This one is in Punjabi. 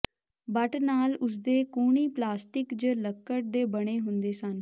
ਬੱਟ ਨਾਲ ਉਸ ਦੇ ਕੂਹਣੀ ਪਲਾਸਟਿਕ ਜ ਲੱਕੜ ਦੇ ਬਣੇ ਹੁੰਦੇ ਸਨ